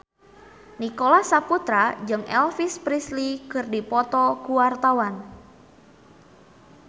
Nicholas Saputra jeung Elvis Presley keur dipoto ku wartawan